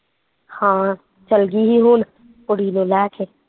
ਹਾਂ, ਚੱਲਗੀ ਸੀ ਹੁਣ ਕੁੜੀ ਨੂੰ ਲੈ ਕੇ